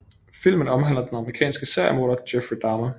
Filmen omhandler den amerikanske seriemorder Jeffrey Dahmer